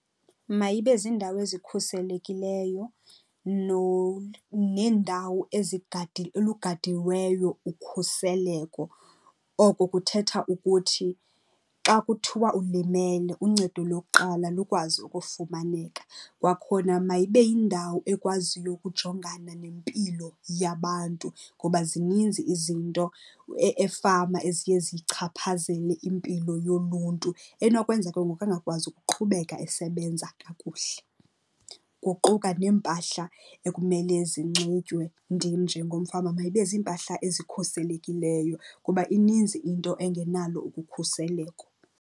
Mayibe ziindawo ezikhuselekileyo neendawo olugadiweyo ukhuseleko. Oko kuthetha ukuthi xa kuthiwa ulimele, uncedo lokuqala lukwazi ukufumaneka. Kwakhona mayibe yindawo ekwaziyo ukujongana nempilo yabantu ngoba zininzi izinto efama eziye zichaphazele impilo yoluntu enokwenza ke ngoku angakwazi ukuqhubeka esebenza kakuhle. Kuquka neempahla ekumele zinxitywe ndim njengomfama, mayibe ziimpahla ezikhuselekileyo kuba ininzi into engenalo ukukhuseleko.